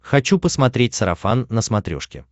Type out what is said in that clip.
хочу посмотреть сарафан на смотрешке